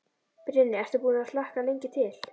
Brynja: Ertu búinn að hlakka lengi til?